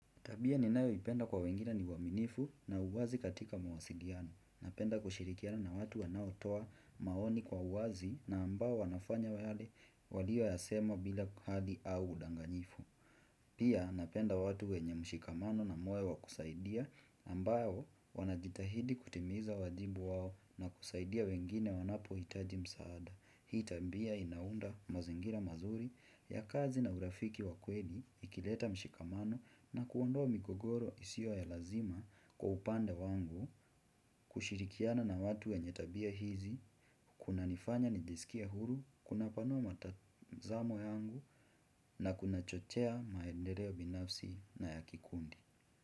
Tabia ni nayo ipenda kwa wengine ni uaminifu na uwazi katika mawasiliano. Napenda kushirikiana na watu wanao toa maoni kwa uwazi na ambao wanafanya wale waliyo yasema bila kuhadi au udanganifu. Pia napenda watu wenye mshikamano na moyo wa kusaidia ambayo wanajitahidi kutimiza wajibu wao na kusaidia wengine wanapo hitaji msaada. Hii tabia inaunda mazingira mazuri ya kazi na urafiki wa kweni, ikileta mshikamano na kuondua migogoro isio ya lazima kwa upande wangu, kushirikiana na watu wenye tabia hizi, kuna nifanya nijisikie huru, kuna panua matazamo yangu na kuna chochea maendereo binafsi na yakikundi.